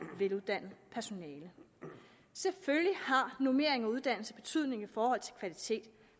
veluddannet personale selvfølgelig har normering og uddannelse betydning i forhold til kvalitet